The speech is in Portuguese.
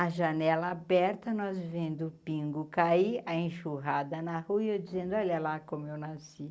A janela aberta, nós vendo o pingo cair, a enxurrada na rua e eu dizendo, olha lá como eu nasci.